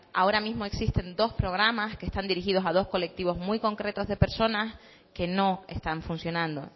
ahora existen dos programas que están dirigidos a dos colectivos muy concretos de personas que no están funcionando